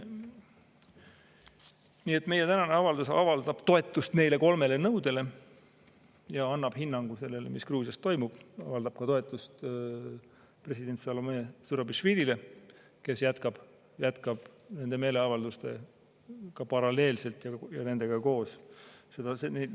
Nii et meie tänane avaldus avaldab toetust neile kolmele nõudele ja annab hinnangu sellele, mis Gruusias toimub, avaldab ka toetust president Salome Zurabišvilile, kes jätkab nende meeleavaldustega paralleelselt ja nendega koos.